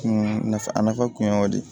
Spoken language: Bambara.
Kun nafa a nafa kun ye o de ye